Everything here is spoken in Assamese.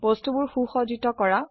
বস্তুবোৰ সুসজ্জিত কৰা